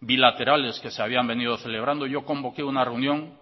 bilaterales que se habían venido celebrando yo convoqué una reunión